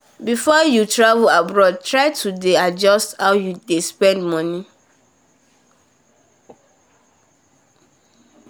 before you travel abroad try to dey adjust how you dey spend money